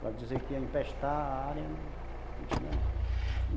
Para dizer que ia empestar a área, não tinha não